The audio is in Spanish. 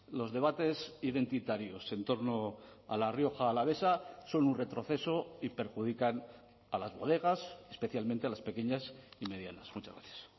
los debates identitarios entorno a la rioja alavesa son un retroceso y perjudican a las bodegas especialmente a las pequeñas y medianas muchas gracias